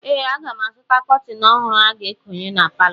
Ee, aga m azụta kọtịn ọhụrụ a ga-ekonye na palọ.